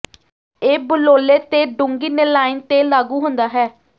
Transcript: ਇਹ ਬਲੌਲੇ ਤੇ ਡੂੰਘੀ ਨੀਲਾਇਨ ਤੇ ਲਾਗੂ ਹੁੰਦਾ ਹੈ